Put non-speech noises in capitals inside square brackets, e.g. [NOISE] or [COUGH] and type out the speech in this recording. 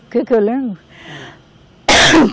O que que eu lembro? [COUGHS]